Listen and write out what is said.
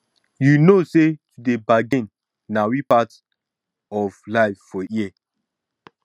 you no know sey to dey bargin na we part of life for here